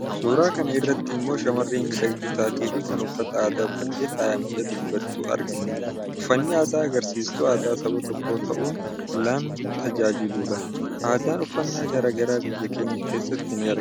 Suuraa kana irratti immoo shamarree miidhagduu taatee fi kan uffata aadaa uffattee faayamtee dhabbattu argina. Uffanni aadaa agarsiistuu aadaa Saba tokkoo ta'uun lan tajaajiludha. Aadaan uffannaa gara garaa biyya keenya keessatti ni argamu.